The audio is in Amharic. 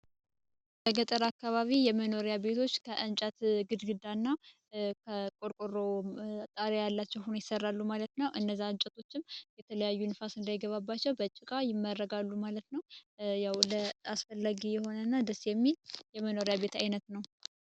የገጠር አካባቢ የመኖሪያ ቤቶች ከ አንጨት ግድግዳና ከቆርቆሮ ጣሪያቸው ሁኔታ ይሰራሉ ማለት ነው። እንጨቶቹም የተለያዩ ንፋስ እንዳይገባቸው በጭቃ ይመረጋሉ ማለት ነው። ያው ለአስፈላጊ የሆነ ደስ የሚል የመኖሪያ ቤት አይነት ነው።